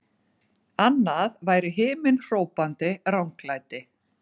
Annað væri himinhrópandi ranglæti!